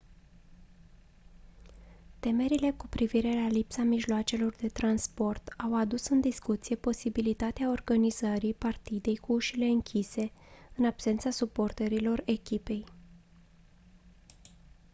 temerile cu privire la lipsa mijloacelor de transport au adus în discuție posibilitatea organizării partidei cu ușile închise în absența suporterilor echipei